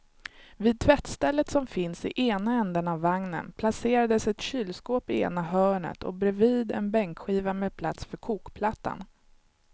Vid tvättstället som finns i ena ändan av vagnen placerades ett kylskåp i ena hörnet och bredvid en bänkskiva med plats för kokplattan.